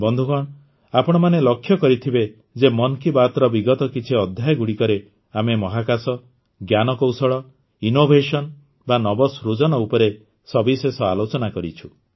ବନ୍ଧୁଗଣ ଆପଣମାନେ ଲକ୍ଷ୍ୟ କରିଥିବେ ଯେ ମନ୍ କି ବାତର ବିଗତ କିଛି ଅଧ୍ୟାୟଗୁଡ଼ିକରେ ଆମେ ମହାକାଶ ଜ୍ଞାନକୌଶଳ ଇନ୍ନୋଭେସନ୍ ବା ନବସୃଜନ ଉପରେ ସବିଶେଷ ଆଲୋଚନା କରିଛୁ